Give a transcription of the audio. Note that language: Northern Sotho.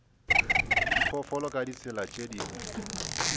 diphoofolo ka ditsela tše dingwe